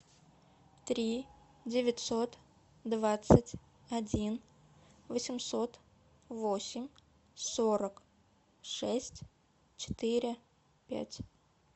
три девятьсот двадцать один восемьсот восемь сорок шесть четыре пять